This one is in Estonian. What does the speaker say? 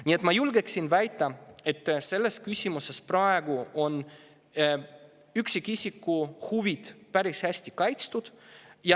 Nii et ma julgen väita, et selles küsimuses praegu on üksikisiku huvid päris hästi kaitstud.